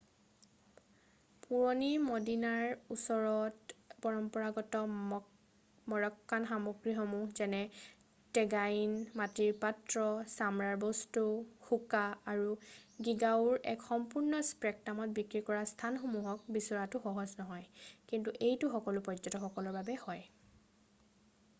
পুৰণি মদিনাৰ ওচৰত পৰম্পৰাগত মৰক্কান সামগ্ৰীসমূহ যেনে টেগাইন মাটিৰ পাত্ৰ ছামৰাৰ বস্তু হোকা আৰু গীগাউৰ এক সম্পূৰ্ণ স্পেকট্ৰামক বিক্ৰী কৰা স্থানসমূহক বিচৰাটো সহজ হয় কিন্তু এইটো সকলো পৰ্য্যটকসকলৰ বাবে হয়৷